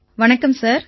வணக்கம் சார்